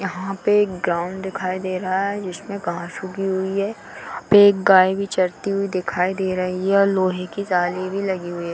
यहाँ पे एक ग्राउंड दिखाई दे रहा है जिसमे घास उगी हुई है | एक गाय भी चरती हुई दिखाई दे रही है और लोहे की जाली भी लगी हुई है |